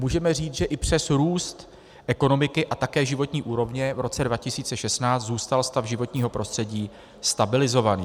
Můžeme říct, že i přes růst ekonomiky a také životní úrovně v roce 2016 zůstal stav životního prostředí stabilizovaný.